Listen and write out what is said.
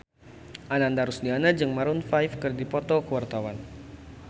Ananda Rusdiana jeung Maroon 5 keur dipoto ku wartawan